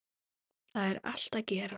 Þar er allt að gerast.